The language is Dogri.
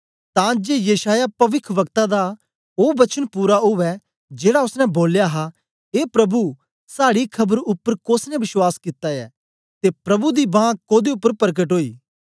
तां जे यशायाह पविखवक्ता दा ओ वचन पूरा उवै जेड़ा ओसने बोलया हा ए प्रभु साड़ी खबर उपर कोसनें बश्वास कित्ता ऐ ते प्रभु दी बांह कोदे उपर परकट ओई